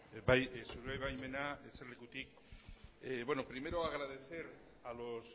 bai zure baimenarekin eserlekutik egingo dut bueno primero agradecer a los